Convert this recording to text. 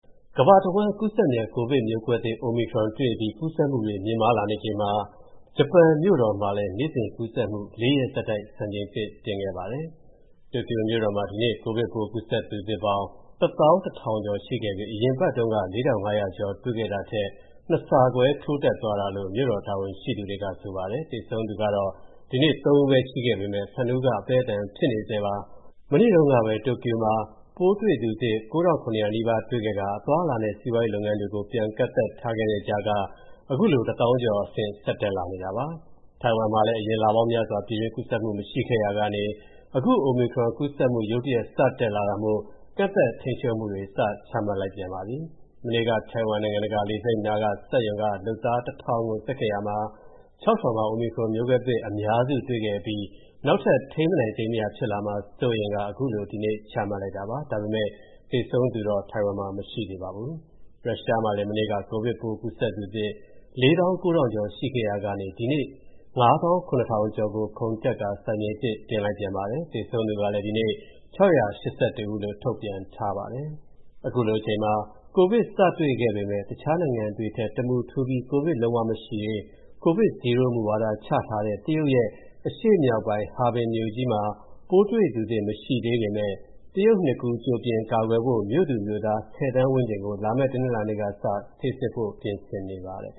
ကမ္ဘာတဝန်း ကူးစက်မြန် ကိုဗစ်မျိုးကွဲသစ် Omicron တွေ့အပြီး ကူးစက်မှု မြင့်မားလာနေချိန်မှာ ဂျပန်မြို့တော်မှာလည်း နေ့စဉ်ကူးစက်မှု ၄ ရက်ဆက်တိုက် စံချိန်တင်ခဲ့ပါတယ်။ တိုကျိုမြို့တော်မှာ ဒီနေ့ ကိုဗစ်ပိုးကူးစက်သူသစ်ပေါင်း ၁၁,၀၀၀ ကျော်ခဲ့ပြီး အရင်အပတ်တုန်းက ၄,၅၀၀ ကျော် တွေ့ခဲ့တာထက် ၂ ဆခွဲ ထိုးတက်သွားတာလို့ မြို့တော်တာဝန်ရှိသူတွေက ဆိုပါတယ်။ သေဆုံးသူကတော့ ဒီနေ့ ၃ ဦးရှိခဲ့ပေမယ့် ၁၂ ဦးက အသည်းအသန် ဖြစ်နေပါတယ်။ မနေ့တုန်းကပဲ တိုကျိုမှာ ပိုးတွေ့သူသစ် ၉,၇၀၀ နီးပါး တွေ့ခဲ့ကာ အသွားအလာနဲ့ စီးပွားလုပ်ငန်းတွေကို ပြန်ကန့်သတ်ထားတဲ့ကြားက အခုလို ၁၀,၀၀၀ ကျော်အဆင့် ဆက်တက်လာနေတာပါ။ ထိုင်ဝမ်မှာလည်း အရင်လပေါင်းများစွာ ပြည်တွင်းကူးစက်မှု မရှိခဲ့ရာကနေ အခု Omicron ကူးစက်မှု ရုတ်တရက် စတက်လာတာမို့ ကန့်သတ်ထိန်းချုပ်မှုတွေ စချမှတ်လိုက်ပါပြီ။ မနေ့က ထိုင်ဝမ် နိုင်ငံတကာလေဆိပ်နား စက်ရုံက လုပ်သား ၁,၀၀၀ ကို စစ်ခဲ့ရာကနေ ၆၀ မှာ Omicron မျိုးကွဲသစ် အများစု တွေ့ခဲ့အပြီး နောက်ထပ် ထိန်းမနိုင်သိမ်းမရ ဖြစ်လာမှာ စိုးရိမ်ကာ အခုလို ဒီနေ့ ချမှတ်လိုက်တာပါ။ ဒါပေမယ့် သေဆုံးသူတော့ မရှိသေးပါဘူး။ ရုရှားမှာလည်း မနေ့က ကိုဗစ်ပိုးကူးစက်သူသစ် ၄၉,၀၀၀ ကျော် ရှိခဲ့ရာကနေ အခု ဒီနေ့ ၅၇,၀၀၀ ကျော်ကို ခုန်တက်ကာ စံချိန်သစ် တင်လိုက်ပြန်ပါတယ်။ သေဆုံးသူကလည်း ဒီနေ့ ၆၈၁ ဦးလို့ ထုတ်ပြန်ထားပါတယ်။ ကိုဗစ်စတွေ့ခဲ့ပေမယ့် တခြားနိုင်ငံတွေထက် တမူထူးပြီး ကိုဗစ်လုံးဝမရှိရေး ကိုဗစ် Zero မူဝါဒ ချထားတဲ့ တရုတ်ရဲ့ အရှေ့မြောက်ပိုင်း Harbin မြို့ကြီးမှာ ပိုးတွေ့သူသစ် မရှိသေးပေမယ့် တရုတ်နှစ်ကူး ကြိုတင်ကာကွယ်ဖို့ မြို့သူမြို့သား ၁၀ သန်းဝန်းကျင်ကို လာမယ့် တနင်္လာနေ့ကစ ဆေးစစ်ဖို့ ပြင်နေပါတယ်။